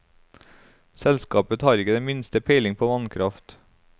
Selskapet har ikke det minste peiling på vannkraft.